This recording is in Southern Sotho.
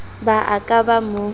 ba a ka ba mo